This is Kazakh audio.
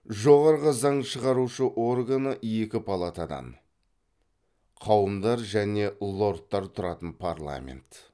жоғары заң шығарушы органы екі палатадан тұратын парламент